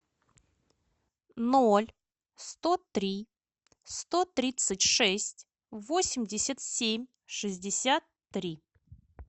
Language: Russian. ноль сто три сто тридцать шесть восемьдесят семь шестьдесят три